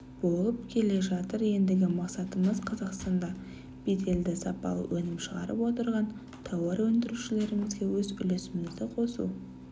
болып келе жатыр ендігі мақсатымыз қазақстанда беделді сапалы өнім шығарып отырған тауарөндірушілерімізге өз үлесімізді қосу